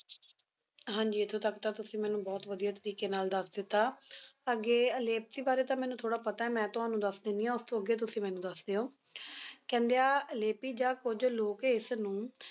ਹਾਂਜੀ ਇੱਥੋਂ ਤੱਕ ਤਾਂ ਤੁਸੀ ਮੈਨੂੰ ਬਹੁਤ ਵਧੀਆ ਤਰੀਕੇ ਨਾਲ ਦੱਸ ਦਿੱਤਾ ਅੱਗੇ ਲੇਪਕੀ ਬਾਰੇ ਤਾਂ ਮੈਨੂੰ ਥੋੜਾ ਪਤਾ ਮੈਂ ਤੁਹਾਨੂੰ ਦੱਸ ਦੇਣੀ ਆ ਉਸਤੋਂ ਅੱਗੇ ਤੁਸੀ ਮੈਨੂੰ ਦੱਸ ਦਿਓ ਕਹਿੰਦੇ ਆ ਲੇਪੀ ਜਾਂ ਕੁੱਝ ਲੋਕ ਇਸਨੂੰ